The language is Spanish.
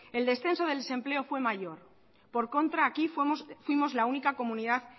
el descenso del desempleo fue mayor por el contrario aquí fuimos la única comunidad